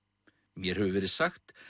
mér hefur verið sagt